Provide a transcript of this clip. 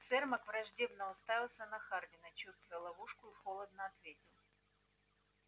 сермак враждебно уставился на хардина чувствуя ловушку и холодно ответил